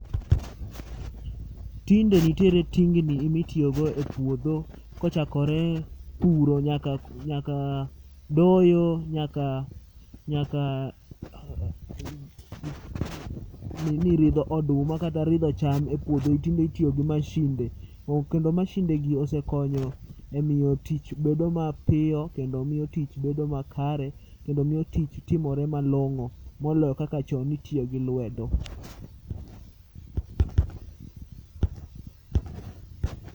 Tinde nitiere ting ni ema itiyogo e puodho kochakore puro nyaka doyo nyaka, nyaka nini ridho oduma kata ridho cham e puodho tinde itiyo gi masinde. Kendo masindegi osekonyo emiyo tich bedo mapiyo kendo tich bedo makare kendo miyo tich timore malong'o moloyo kaka chon ne itiyo gi lwedo.